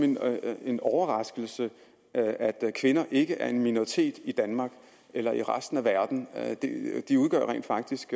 en overraskelse at at kvinder ikke er en minoritet i danmark eller i resten af verden de udgør rent faktisk